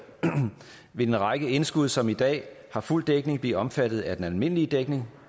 vil en række indskud som i dag ikke har fuld dækning blive omfattet af den almindelige dækning